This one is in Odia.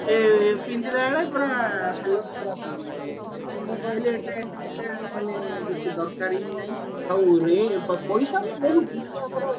ମାନେ ପିନ୍ଧିଲାବେଳେ ପୁରା ହାଲତ ଖରାପ ହେଇଯିବ ମୁଁ କହିଲି ଏଟା ଏଟା ମାନେ ବେସି ଦରକାର ହିଁ ନାହିଁ ହାଉ ପଇସା ବି ବହୁତ ମାନେ ଆମର